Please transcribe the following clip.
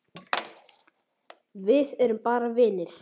Við erum bara vinir.